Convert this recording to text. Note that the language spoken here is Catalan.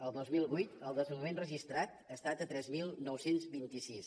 el dos mil vuit el desnonament registrat ha estat de tres mil nou cents i vint sis